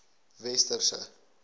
westerse